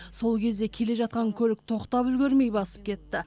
сол кезде келе жатқан көлік тоқтап үлгермей басып кетті